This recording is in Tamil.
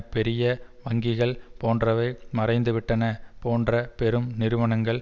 பெரிய வங்கிகள் போன்றவை மறைந்துவிட்டன போன்ற பெரும் நிறுவனங்கள்